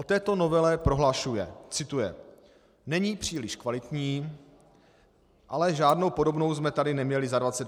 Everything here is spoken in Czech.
O této novele prohlašuje - cituji: "Není příliš kvalitní, ale žádnou podobnou jsme tady neměli za 25 let."